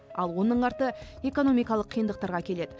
ал оның арты экономикалық қиындықтарға әкеледі